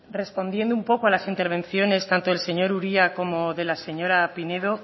respondiendo un poco a las intervenciones tanto del señor uria como de la señora pinedo